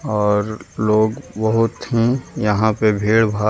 और लोग बहुत ही यहां पे भीड़भाड़ --